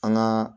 An gaa